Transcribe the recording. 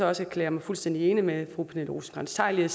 også erklære mig fuldstændig enig med fru pernille rosenkrantz theil